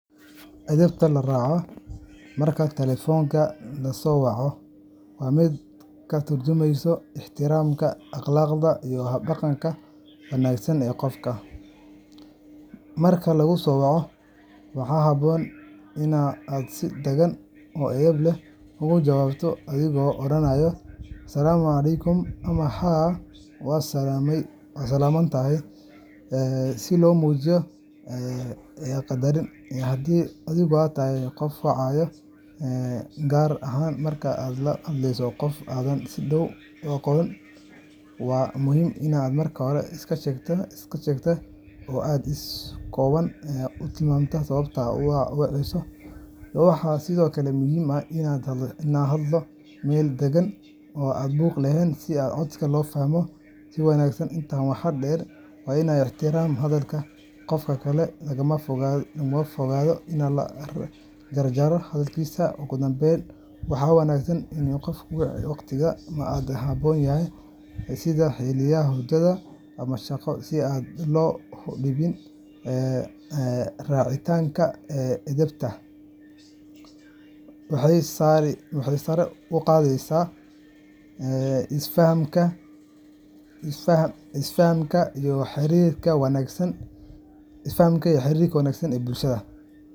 Edebta la raaco marka telefoonka la soo waco waa mid ka tarjumeysa ixtiraamka, akhlaaqda, iyo hab-dhaqanka wanaagsan ee qofka. Marka laguu soo waco, waxaa habboon in aad si deggan oo edeb leh uga jawaabto adigoo oranaya “Assalaamu calaykum” ama “Haa, waad salaaman tahay,” si loo muujiyo qadarin. Haddii adigu tahay qofka wacaya, gaar ahaan marka aad la hadleyso qof aadan si dhow u aqoon, waa muhiim in aad marka hore iska sheegto oo aad si kooban u tilmaanto sababta aad u waceyso. Waxaa sidoo kale muhiim ah in la hadlo meel deggan oo aan buuq lahayn, si codka loo fahmo si wanaagsan. Intaa waxaa dheer, waa in la ixtiraamaa hadalka qofka kale, lagana fogaadaa in la jarjarayo hadalkiisa. Ugu dambayn, waxaa wanaagsan in aan qof la wicin waqtiyada aan ku habboonayn, sida xilliyada hurdo ama shaqo, si aan loo dhibin. Raacitaanka edebtan waxay sare u qaadaysaa isfahamka iyo xiriirka wanaagsan ee bulshada.